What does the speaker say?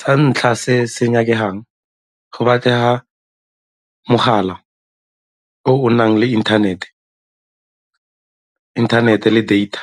Sa ntlha se se nyakegang, go batlega mogala o o nang le inthanete le data.